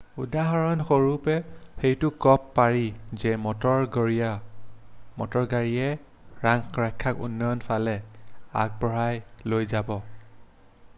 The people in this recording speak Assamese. উদাহৰণস্বৰূপে এইটো কব পাৰি যে মটৰ গাড়ীয়ে ৰাস্তাক উন্নয়নৰ ফালে আগুৱাই লৈ যায়